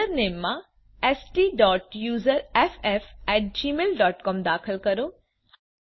username માં STUSERFFgmailcom દાખલ કરો